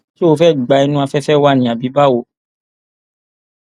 ṣó fẹẹ gba inú afẹfẹ wa ni àbí báwo